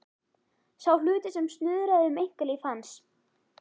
Sá hluti sem snuðraði um einkalíf hans.